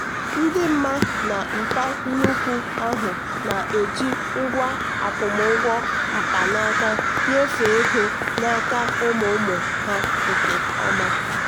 ndị mma na mpa nnukwu ahụ na-eji ngwa akwụmụgwọ mkpanaka nyefee ego n'aka ụmụ ụmụ ha nke ọma.